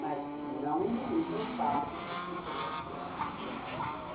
Mas não minimiza o fato de que eu que era a mulher, né?